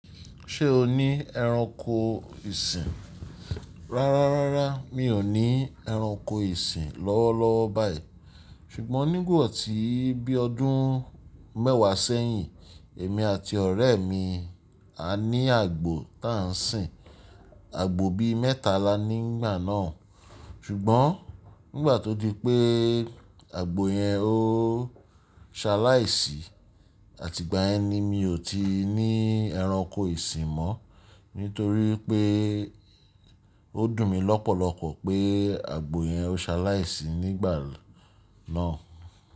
Ṣé o ní ẹranko ìsìn? Rárá, rárá, mi ò ní ẹranko ìsìn lọ́wọ́ lọ́wọ́ báyìí. Ṣùgbọ́n nígbà tí bí ọdún mẹ́wàá sẹ́yìn, èmi àti ọ̀rẹ́ mi a ní àgbò tá n sìn, àgbò bí mẹ́ta lá ni nígbà náà. Ṣùgbọ́n nígbà tó di pé àgbò yẹn ó ṣaláì sì àti ìgbà yẹn ni mi ò ti ní ẹranko ìsìn mọ́. Nítorí pé ó dùn mí lọ́pọ̀lọpọ̀ pé àgbò yẹn ó ṣaláì sì nígbà náà.